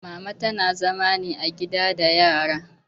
Mama tana zama ne a gida da yara